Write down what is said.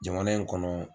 Jamana in kɔnɔ